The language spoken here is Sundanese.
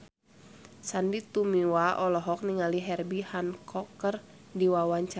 Sandy Tumiwa olohok ningali Herbie Hancock keur diwawancara